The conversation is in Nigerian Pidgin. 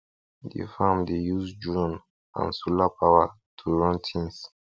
de farm dey use drone and solar power to run things